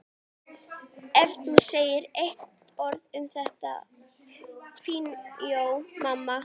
Þetta kom mér ákaflega spánskt fyrir sjónir.